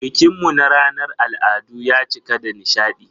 Bikin mu na ranar al'adu ya cika da nishadi.